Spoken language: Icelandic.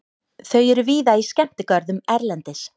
Þau eru víða í skemmtigörðum erlendis.